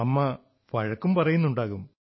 അമ്മ വഴക്കും പറയുന്നുമുണ്ടാവും